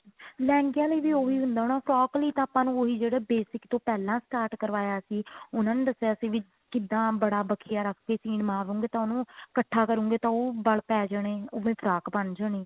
ਲਹਿੰਗਿਆ ਲਈ ਵੀ ਉਹੀ ਹੁੰਦਾ ਹੋਣਾ frock ਲਈ ਤਾਂ ਆਪਾਂ ਨੂੰ ਉਹੀ ਜਿਹੜੇ basic ਤੋਂ ਪਹਿਲਾਂ start ਕਰਵਾਇਆ ਸੀ ਉਹਨਾ ਨੇ ਦੱਸਿਆ ਸੀ ਵੀ ਕਿੱਦਾਂ ਬੜਾ ਬਖਿਆ ਰੱਖ ਕੇ ਸੀਨ ਮਾਰੋਗੇ ਤਾਂ ਉਹਨੂੰ ਇੱਕਠਾ ਕਰੋਗੇ ਤਾਂ ਉਹਨੂੰ ਵਲ ਪੈ ਜਣੇ ਉਹਦਾ frock ਬਣ ਜਾਣੀ